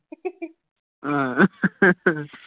ਹਾਂ